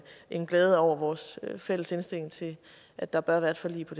end glæde mig over vores fælles indstilling til at der bør være et forlig på